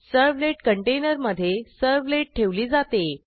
servlet कंटेनरमधे servlet ठेवली जाते